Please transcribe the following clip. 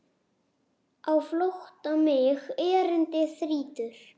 Á flótta mig erindi þrýtur.